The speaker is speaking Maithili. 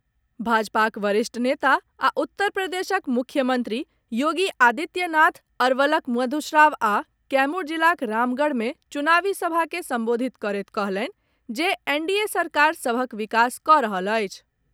भाजपाक वरिष्ठ नेता आ उत्तर प्रदेशक मुख्यमंत्री योगी आदित्य नाथ अरवलक मधुश्रवा आ कैमूर जिलाक रामगढ़ मे चुनावी सभा के संबोधित करैत कहलनि जे एनडीए सरकार सभक विकास कऽ रहल अछि।